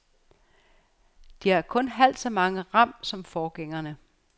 De har kun halvt så meget ram som forgængerne.